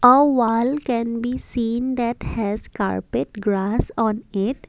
A wall can be seen that has carpet grass on it.